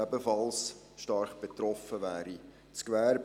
Ebenfalls stark betroffen wäre das Gewerbe.